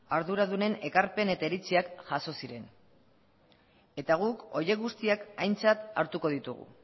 arduradunen ekarpen eta iritziak jaso ziren eta guk horiek guztiak aintzat hartuko ditugu